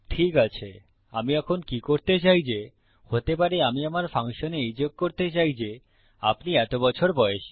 ঠিক আছে আমি এখন কি করতে চাই যে হতে পারে আমি আমার ফাংশনে এই যোগ করতে চাই যে আপনি এত বছর বয়সী